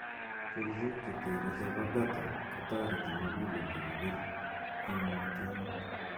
Kercheek chetere chepo beta �kotoreti muguleldo kobir eng' mutyonet.